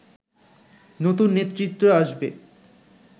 নতুন নেতৃত্ব আসবে